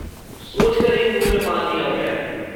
सोच कर ही मुँह में पानी आ गया।